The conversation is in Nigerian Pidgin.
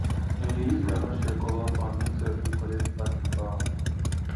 im dey use groundnut shell cover farm mek soil fit collect back im power